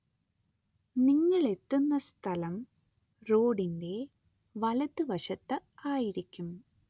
നിങ്ങളെത്തുന്ന സ്ഥലം റോഡിന്റെ വലതുവശത്തായിരിക്കും.